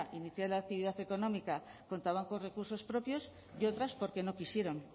iniciada la actividad económica contaban con recursos propios y otras porque no quisieron